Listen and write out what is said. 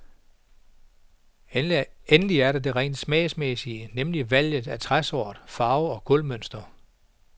Endelig er der det rent smagsmæssige, nemlig valget af træsort, farve og gulvmønster.